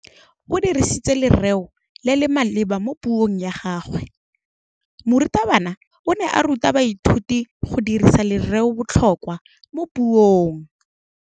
O dirisitse lerêo le le maleba mo puông ya gagwe. Morutabana o ne a ruta baithuti go dirisa lêrêôbotlhôkwa mo puong.